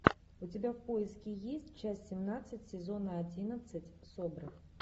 у тебя в поиске есть часть семнадцать сезона одиннадцать собр